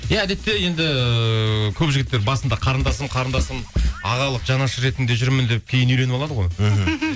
иә әдетте енді көп жігіттер басында қарындасым қарындасым ағалық жанашыр ретінде жүрмін деп кейін үйленіп алады ғой мхм